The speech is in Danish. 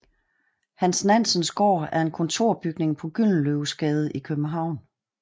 Hans Nansens Gård er en kontorbygning på Gyldenløvesgade i København